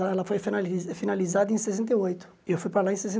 Ela foi finalis finalizada em sessenta e oito, e eu fui para lá em